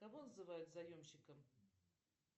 кого называют заемщиком